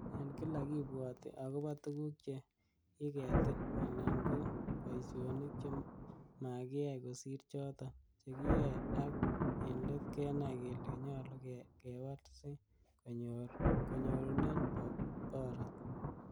En kila kibwoti agobo tuguk che kiketil, alan ko boisionik chemakiyai kosir choton chekiyoe ak en let kenai kele nyolu kewal si kenyorun borot.